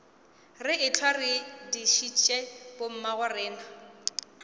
re ehlwa re dišitše bommagorena